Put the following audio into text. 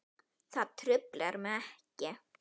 Það truflar mig ekki.